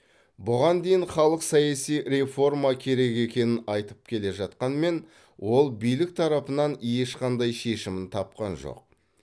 бұған дейін халық саяси реформа керек екенін айтып келе жатқанмен ол билік тарапынан ешқандай шешімін тапқан жоқ